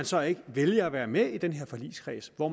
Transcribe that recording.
så ikke vælger at være med i den her forligskreds hvor